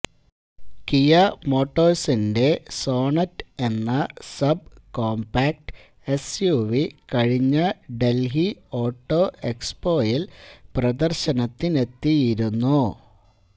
Kia മോട്ടോഴ്സിന്റെ Sonet എന്ന sub compact SUV കഴിഞ്ഞ ഡല്ഹി ഓട്ടോ എക്സ്പോയില് പ്രദര്ശനത്തിനെത്തിയിരുന്നു